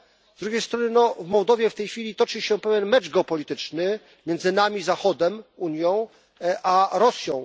Z drugiej strony w Mołdowie w tej chwili toczy się pewien mecz geopolityczny między nami, Zachodem, Unią, a Rosją.